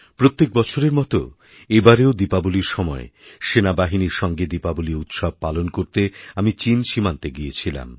প্রত্যেক বছরের মতো এবারও দীপাবলির সময় সেনাবাহিনীর সঙ্গে দীপাবলিপালন করতে আমি চীন সীমান্তে গিয়েছিলাম